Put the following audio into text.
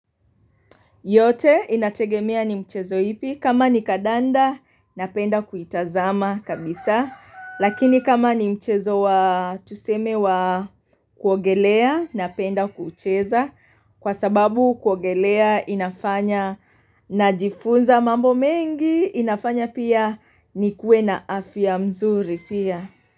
Yote inategemea ni michezo ipi, kama ni kandanda, napenda kuitazama kabisa. Lakini kama ni mchezo wa tuseme wa kuogelea, napenda kucheza. Kwa sababu kuogelea inafanya najifunza mambo mengi, inafanya pia nikuwe na afya mzuri pia.